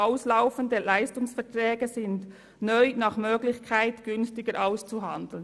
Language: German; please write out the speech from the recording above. «Auslaufende Leistungsverträge sind neu nach Möglichkeit günstiger auszuhandeln.